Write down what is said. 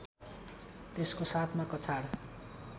त्यसको साथमा कछाड